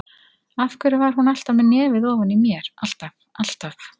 Af hverju var hún alltaf með nefið ofan í mér, alltaf, alltaf.